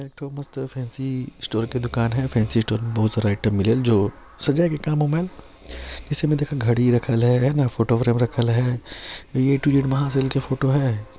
एक ठो मस्त फैन्सी स्टोर के दुकान हैं फैन्सी स्टोर में बहुत सारा आइटम मिलेल जो सजाए के काम आवं जइसे के देखा घड़ी रखल हैं हैं ना फोटो फ्रेम रखल हैं ऐ टू जेड महा सेल की फोटो है।